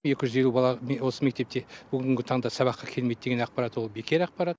екі жүз елу бала осы мектепте бүгінгі таңда сабаққа келмейді деген ақпарат ол бекер ақпарат